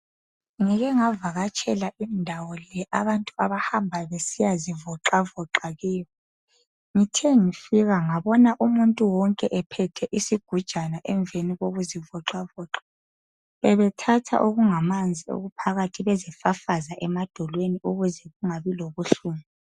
Ngike ngavakatshela indawo le abantu abahamba ukuyazivoxavoxa kiyo ngithe ngifika ngabona wonke umuntu ephethe isigujana emveni kokuzivoxavoxa bebethatha okungamanzi okuphakathi bezifafaza emadolweni ukuze kungabi lobuhlungu